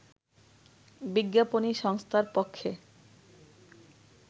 বিজ্ঞাপনী সংস্থার পক্ষে